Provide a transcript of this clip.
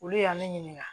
Olu y'a ne ɲininka